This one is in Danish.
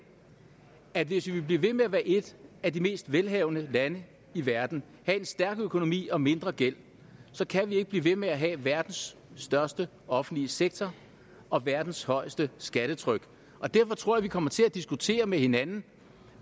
at hvis vi vil blive ved med at være et af de mest velhavende lande i verden have en stærk økonomi og mindre gæld kan vi ikke blive ved med at have verdens største offentlige sektor og verdens højeste skattetryk derfor tror jeg vi kommer til at diskutere med hinanden